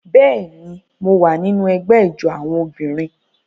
Bẹ́ẹ̀ ni, mo wà nínú ẹgbẹ́ ijó àwọn obìnrin